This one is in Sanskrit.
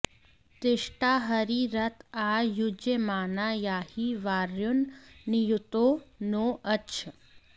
तिष्ठा॒ हरी॒ रथ॒ आ यु॒ज्यमा॑ना या॒हि वा॒युर्न नि॒युतो॑ नो॒ अच्छ॑